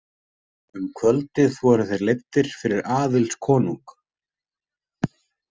Um kvöldið voru þeir leiddir fyrir Aðils konung.